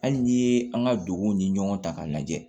Hali n'i ye an ka duguw ni ɲɔgɔn ta k'a lajɛ